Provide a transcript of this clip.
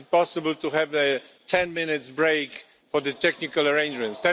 Is it possible to have a 10 minute break for the technical arrangements?